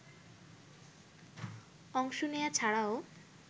অংশ নেয়া ছাড়াও